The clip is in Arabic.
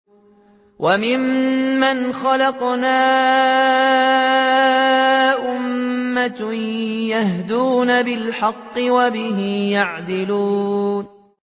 وَمِمَّنْ خَلَقْنَا أُمَّةٌ يَهْدُونَ بِالْحَقِّ وَبِهِ يَعْدِلُونَ